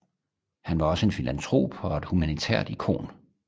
Han var også en filantrop og et humanitært ikon